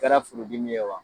kara furu dimi ye wa